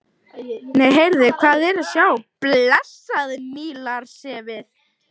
Nei, heyrðu, hvað er að sjá blessað Nílarsefið!